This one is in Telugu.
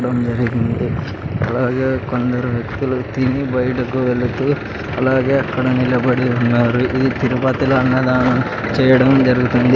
డం జరిగింది అలాగే కొందరు వ్యక్తులు తిని బయటకు వెళుతూ అలాగే అక్కడ నిలబడి ఉన్నారు ఇది తిరుపతిలో అన్నదానం చేయడం జరుగుతుంది.